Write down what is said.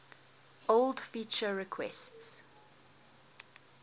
old feature requests